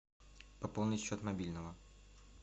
пополнить счет мобильного